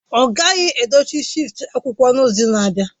Ọ ghaghị dochie shelf akwụkwọ n'izu na-abịa!